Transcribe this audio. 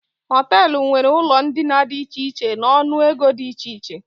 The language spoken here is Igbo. Hoteelu nwéré ụlọ ndina dị iche iche n'ọnụ ego dị iche iche